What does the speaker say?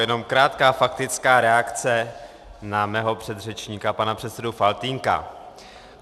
Jenom krátká faktická reakce na mého předřečníka, pana předsedu Faltýnka.